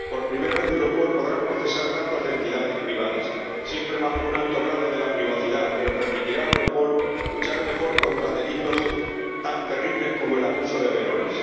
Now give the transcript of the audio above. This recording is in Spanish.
Por primera vez, Europol podrá procesar datos de entidades privadas, siempre bajo un alto grado de privacidad, pero que permitirá a Europol luchar mejor contra delitos tan terribles como el abuso de menores.